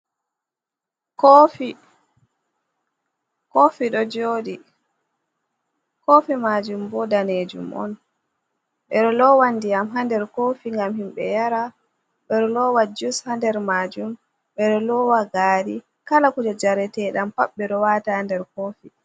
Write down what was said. Koofi, koofi ɗo jooɗi, koofi maajum bo daneejum on, ɓe ɗo loowa ndiyam haa nder koofi, ngam himɓe yara, ɓe ɗo loowa jus haa nder maajum, ɓe ɗo loowa gaari, kala kuje jareteeɗam pat, ɓe ɗo waata nder koofi.